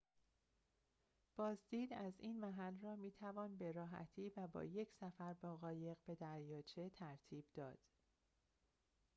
بازدید از این محل را می‌توان به راحتی و با یک سفر با قایق به دریاچه ترتیب داد